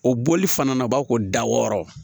O bɔli fana na o b'a ko da wɔɔrɔ